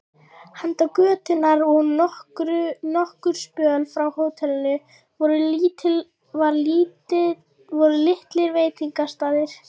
Handan götunnar og nokkurn spöl frá hótelinu voru litlir veitingastaðir.